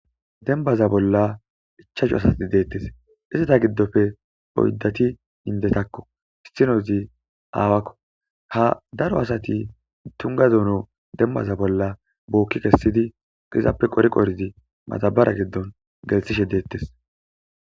dembaza bolla ichahu asati deettes izata giddofe oyddati hindetakko itinozi aawakko ha daro asati tungadono dembaza bolla bookki kessidi izappe qori qoridi matabara giddon gelsishe deettes